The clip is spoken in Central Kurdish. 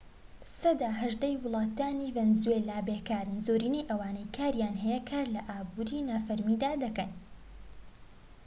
سەدا هەژدەی هاوڵاتیانی ڤەنزوێلا بێکارن زۆرینەی ئەوانەی کاریان هەیە کار لە ئابوری نافەرمیدا دەکەن